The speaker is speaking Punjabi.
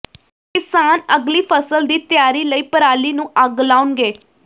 ਕਿਸਾਨ ਅਗਲੀ ਫਸਲ ਦੀ ਤਿਆਰੀ ਲਈ ਪਰਾਲੀ ਨੂੰ ਅੱਗ ਲਾਉਣਗੇ